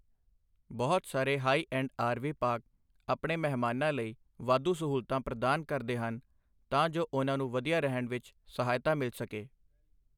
ਬਹੁਤ ਸਾਰੇ high end RV park ਆਪਣੇ ਮਹਿਮਾਨਾਂ ਲਈ ਵਾਧੂ ਸਹੂਲਤਾਂ ਪ੍ਰਦਾਨ ਕਰਦੇ ਹਨ ਤਾਂ ਜੋ ਉਹਨਾਂ ਨੂੰ ਵਧੀਆ ਰਹਿਣ ਵਿੱਚ ਸਹਾਇਤਾ ਮਿਲ ਸਕੇ।